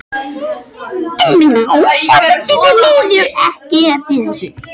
En Rósa mundi því miður ekki eftir þessu.